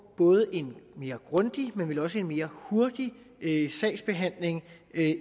både en mere grundig og vel også en mere hurtig sagsbehandling